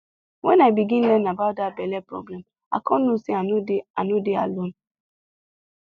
when i begin learn about that belle problem i come know say i no dey i no dey alone